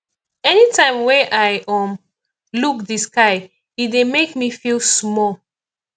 anytime wey i um look di sky e dey make me feel small